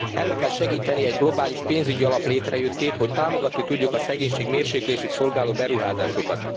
Elő kell segíteni egy globális pénzügyi alap létrejöttét, hogy támogatni tudjuk a szegénység mérséklését szolgáló beruházásokat.